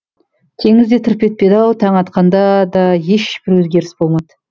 теңіз де тырп етпеді ау таң атқанда да ешбір өзгеріс болмады